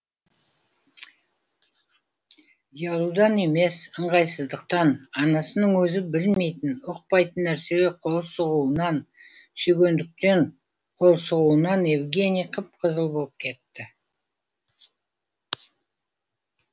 ұялудан емес ыңғайсыздықтан анасының өзі білмейтін ұқпайтын нәрсеге қол сұғуынан сүйгендіктен қол сұғуынан евгений қып қызыл болып кетті